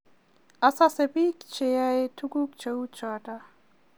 asase biik che yae tuguk cheu chotok